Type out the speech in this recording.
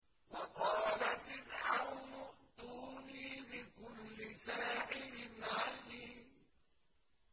وَقَالَ فِرْعَوْنُ ائْتُونِي بِكُلِّ سَاحِرٍ عَلِيمٍ